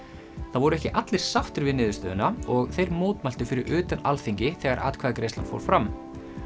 það voru ekki allir sáttir við niðurstöðuna og þeir mótmæltu fyrir utan Alþingi þegar atkvæðagreiðslan fór fram